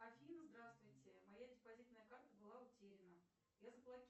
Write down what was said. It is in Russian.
афина здравствуйте моя депозитная карта была утеряна я заблокировала